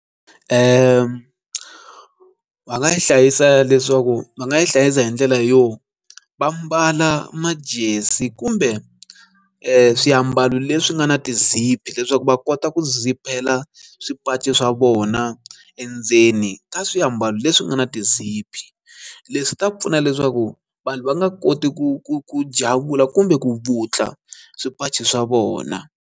Va nga yi hlayisa leswaku va nga yi hlayisa hi ndlela yo va mbala majezi kumbe swiambalo leswi nga na ti-zip leswaku va kota ku zip-hela swipachi swa vona endzeni ka swiambalo leswi nga na ti-zip leswi ta pfuna leswaku vanhu va nga koti ku ku ku javula kumbe ku vutla swipachi swa vona.